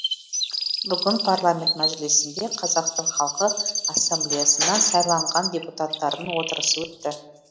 бүгін парламент мәжілісінде қазақстан халқы ассамблеясынан сайланған депутаттардың отырысы өтті